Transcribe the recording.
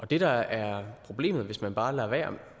det der er problemet hvis man bare lader være